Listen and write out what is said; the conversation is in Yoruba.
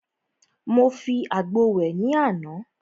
Mo fi àgbo wẹ̀ ní àná.